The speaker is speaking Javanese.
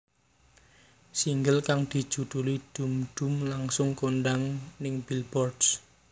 Single kang dijuduli Dhoom Dhoom langsung kondhang ning Billboards